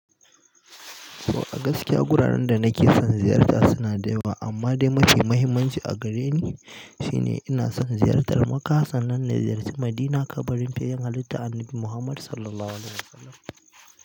To a gaskiya guraren da nake son ziyarta suna da yawa, amma dai mafi muhimmanci a gare ni shine ina son ziyartar makka sannan na ziyarci, Madina kabarin fiyayyan halitta annabi Muhammad Sallallahu Alaihi Wasallam.